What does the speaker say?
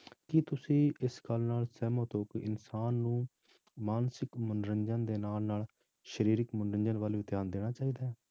ਕੀ ਤੁਸੀਂ ਇਸ ਗੱਲ ਨਾਲ ਸਹਿਮਤ ਹੋ ਕਿ ਇਨਸਾਨ ਨੂੰ ਮਾਨਸਿਕ ਮਨੋਰੰਜਨ ਦੇ ਨਾਲ ਨਾਲ ਸਰੀਰਕ ਮਨੋਰੰਜਨ ਵੱਲ ਵੀ ਧਿਆਨ ਦੇਣਾ ਚਾਹੀਦਾ ਹੈ